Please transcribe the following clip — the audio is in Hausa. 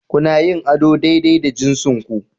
Kuna yin ado daidai da jinsinku